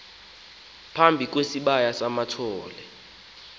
phambi kwesibaya samathole